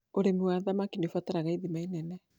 ũrĩmi wa thamaki nĩ ũbataraga ithima nene.